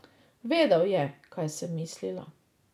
Vedel je, kaj sem mislila.